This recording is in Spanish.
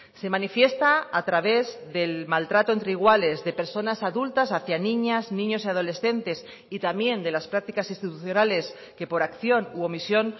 se manifiesta a través del maltrato entre iguales de personas adultas hacia niñas niños y adolescentes y también de las prácticas institucionales que por acción u omisión